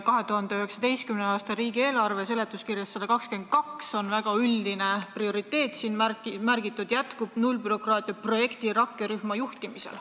2019. aasta riigieelarve seaduse eelnõu seletuskirjas on leheküljel 122 väga üldiselt märgitud: jätkub nullbürokraatia projekt rakkerühma juhtimisel.